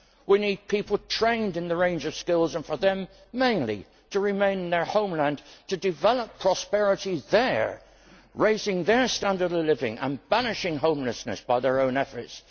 we need people trained in a range of skills and for them, for the most part, to remain in their homelands to develop prosperity there, raising their standard of living and banishing homelessness through their own efforts.